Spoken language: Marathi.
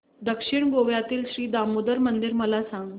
दक्षिण गोव्यातील श्री दामोदर मंदिर मला सांग